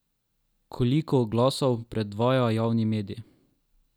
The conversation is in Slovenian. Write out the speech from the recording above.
Koliko oglasov predvaja javni medij?